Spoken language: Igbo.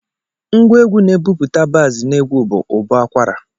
Ngwa egwu na-ebupụta baaz n'egwu bụ ụbọakwara